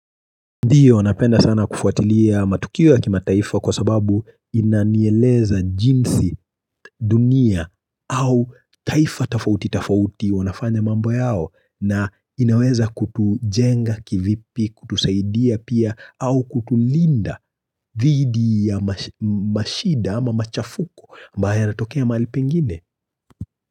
Ndiyo, napenda sana kufuatilia matukio kimataifa kwa sababu inanieleza jinsi dunia au taifa tafauti tafauti wanafanya mambo yao na inaweza kutujenga kivipi, kutusaidia pia au kutulinda didhi ya mashida ama machafuko ambaye yanatokea mali pengine.